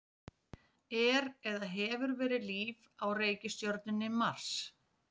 Er eða hefur verið líf á reikistjörnunni Mars?